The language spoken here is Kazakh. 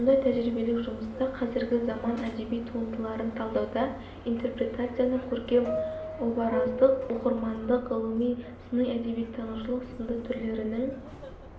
мұндай тәжірибелік жұмыстар қазіргі заман әдеби туындыларын талдауда интерпретацияның көркем-обараздық оқырмандық ғылыми сыни әдебиеттанушылық сынды түрлерінің